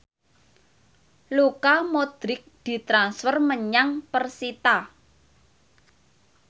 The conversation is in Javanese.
Luka Modric ditransfer menyang persita